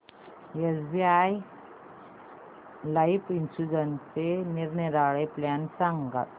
SBI life इन्शुरन्सचे निरनिराळे plan सांग